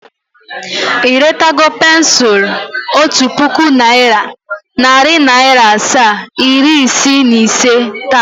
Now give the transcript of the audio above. I retago pensul Otu puku naira, nari naira asaa, iri isii na ise taa?